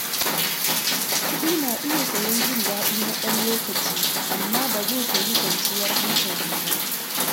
Kuɗi na iya sayen jin daɗi na ɗan lokaci, amma ba zai sayi kwanciyar hankali ba.